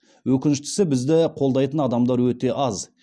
өкініштісі бізді қолдайтын адамдар өте аз